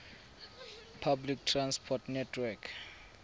public transport network